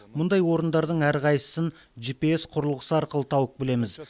мұндай орындардың әрқайсысын жипиес құрылғысы арқылы тауып білеміз